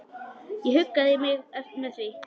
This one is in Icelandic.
Ég huggaði mig með því.